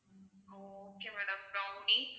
okay madam brownie